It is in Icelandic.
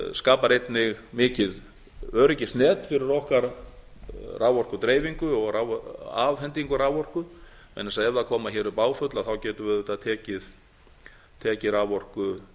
skapar einnig mikið öryggisnet fyrir okkar raforkudreifingu og afhendingu raforku vegna þess að ef koma hér upp áföll getum við auðvitað tekið raforku